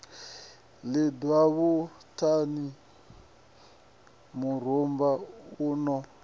lidzwa vhushani murumba u no